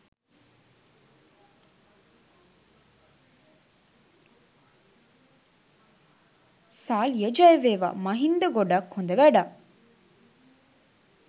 සාලිය ජයවේවා මහින්ද ගොඩක් හොද වැඩක්.